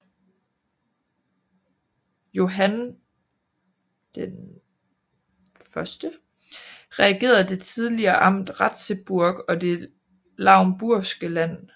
Johann I regerede det tidligere amt Ratzeburg og det lauenburgske land